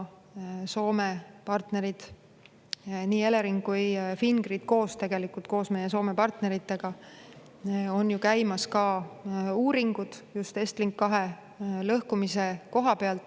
Soome partneritel, õigemini Eleringil ja Fingridil koos meie Soome partneritega on käimas EstLink 2 lõhkumise uuringud.